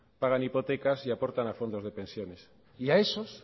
pagan hipotecas y aportan a fondos de pensiones y a esos